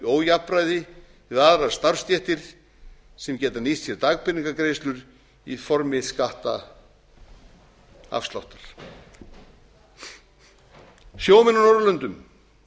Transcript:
ójafnræði við aðrar starfsstéttir sem geta nýtt sér dagpeningagreiðslur í formi skattafsláttar sjómenn á norðurlöndum